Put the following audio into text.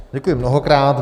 Děkuji mnohokrát.